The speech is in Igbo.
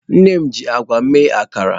Nne m ji agwa mee akara.